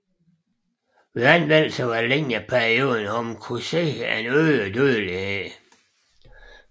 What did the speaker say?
Ved anvendelse over en længere periode har kunnet ses en øget dødelighed